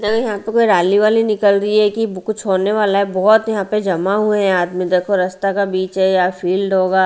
यहां पे कोई रैली वाली निकल रही है कि कुछ होने वाला है बहुत यहां पे जमा हुए हैं आदमी देखो रास्ता का बीच है यहाँ फील्ड होगा।